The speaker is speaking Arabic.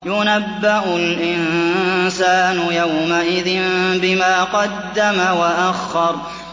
يُنَبَّأُ الْإِنسَانُ يَوْمَئِذٍ بِمَا قَدَّمَ وَأَخَّرَ